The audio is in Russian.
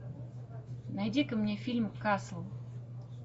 найди ка мне фильм касл